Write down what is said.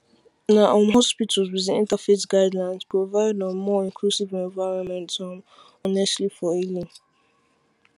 na um hospitals with interfaith guidelines provide um more inclusive environments um honestly for healing